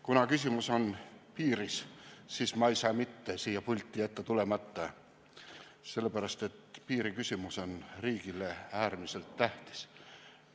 Kuna küsimus on piiris, siis ma ei saa mitte jätta siia pulti tulemata, sellepärast et piiriküsimus on riigile äärmiselt tähtis.